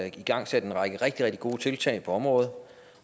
igangsat en række rigtig rigtig gode tiltag på området